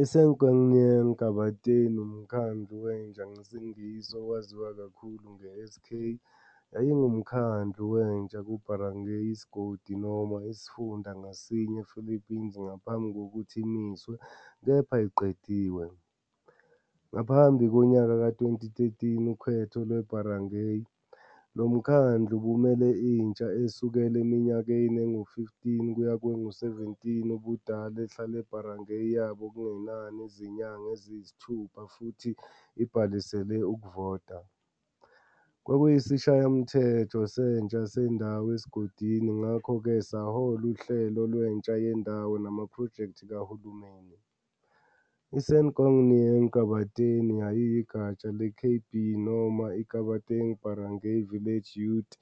I- Sangguniang Kabataan, "uMkhandlu Wentsha" ngesiNgisi, owaziwa kakhulu nge-SK, yayingumkhandlu wentsha ku- barangay, isigodi noma isifunda, ngasinye ePhilippines, ngaphambi kokuthi "imiswe", kepha ayiqediwe, ngaphambi konyaka ka- 2013 ukhetho lwe-barangay. Lo mkhandlu ubumele intsha esukela eminyakeni engu-15 kuya kwengu-17 ubudala ehlale ebarangay yabo okungenani izinyanga eziyisithupha futhi ibhalisele ukuvota. Kwakuyisishayamthetho sentsha sendawo esigodini ngakho-ke sahola uhlelo lwentsha yendawo namaphrojekthi kahulumeni. I-Sangguniang Kabataan yayiyigatsha le-KB noma i- "Kabataang Barangay", Village Youth,